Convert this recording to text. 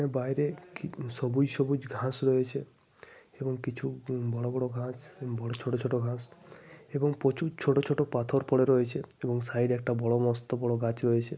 বাইরে কিম সবুজ সবুজ ঘাস রয়েছে। এবং কিছু বড় বড় ঘাস কিছু ছোট ছোট ঘাস। এবং প্রচুর ছোট ছোট পাথর পড়ে রয়েছে। এবং সাইডে একটা বড় মস্ত বড় গাছ রয়েছে।